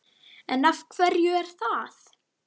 En af hverju er það?